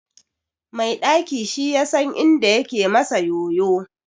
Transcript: Mai ɗaki shi yasan inda yake masa yoyo.